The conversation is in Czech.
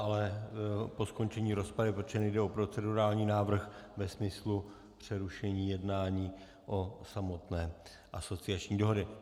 Ale po skončení rozpravy, protože nejde o procedurální návrh ve smyslu přerušení jednání o samotné asociační dohodě.